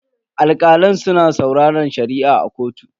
Alkalan suna sauraren Shari'a a kotu.